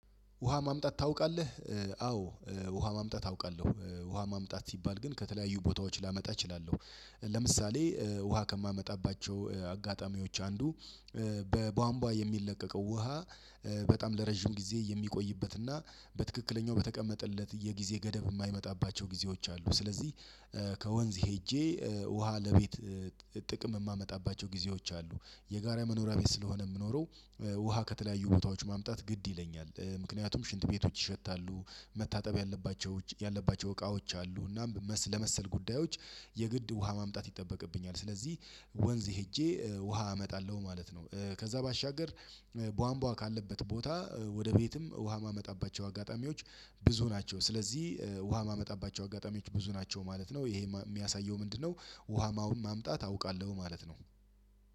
ውሃ ማምጣት ታውቃለህ? አዎ ውሃ ማምጣት አውቃለሁ። ውሃ ማምጣት ሲባል ግን ከተለያዩ ቦታዎች ላመጣ እችላለሁ። ለምሳሌ ውሃ ከማመጣባቸው አጋጣሚዎች አንዱ በቧንቧ የሚለቀቀው ውሃ በጣም ለረጅም ጊዜ የሚቆይበትና በትክክለኛው በተቀመጠለት የጊዜ ገደብ የማይመጣባቸው ጊዜዎች አሉ ስለዚህ ከወንዝ ሄጄ ውሃ ለቤት ጥቅም የማመጣባቸው ጊዜዎች አሉ የጋራ መኖሪያ ቤት ስለሆነ የምኖረው ውሃ ከተለያዩ ቦታዎች ማምጣት ግድ ይለኛል ምክንያቱም ሽንት ቤቶች ይሸታሉ መታጠብ ያለባቸው ያለባቸው እቃዎች አሉ እና ለመሰል ጉዳዮች የግድ ውሃ ማምጣት ይጠበቅብኛል። ስለዚህ ወንዝ ሄጄ ውሃ አመጣለሁ ማለት ነው ከዛ ባሻገር ቧንቧ ካለበት ቦታ ወደ ቤትም ውሃ የማመጣባቸው አጋጣሚዎች ብዙ ናቸው። ስለዚህ ውሃ የማመጣባቸው አጋጣሚዎች ብዙ ናቸው ማለት ነው። ይሄ የሚያሳየው ምንድነው ውሃ ማምጣት አውቃለሁ ማለት ነው።